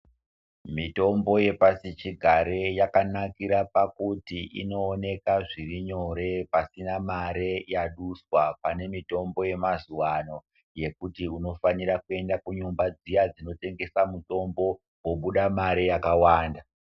Mitombo yepasichigare yakanakira pakuti inooneka zviri nyore pasina mare yaduswa, pane mitombo yemazuwa ano yekuti unofanira kuenda kunyumba dziya dzinotengesa mitombo, wobuda mare yakawanda.